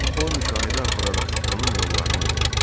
O müşahidə apararaq bunun yollarını öyrəndi.